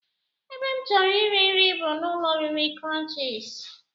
Ebe m chọrọ iri nri bụ n'ụlọoriri crunchies